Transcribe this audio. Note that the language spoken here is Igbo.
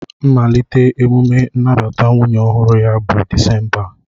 Mmalite emume nnabata nwunye ọhụrụ ya bụ Disemba a